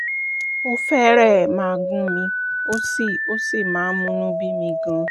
ó fẹ́rẹ̀ẹ́ máa gún mi ó sì ó sì máa ń múnú bí mi gan-an